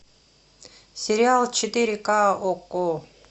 сериал четыре ка окко